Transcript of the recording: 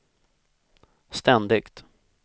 ständigt